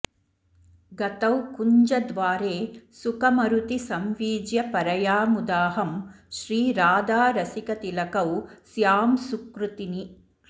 गतौ कुञ्जद्वारे सुखमरुति संवीज्य परया मुदाहं श्रीराधारसिकतिलकौ स्यां सुकृतिनी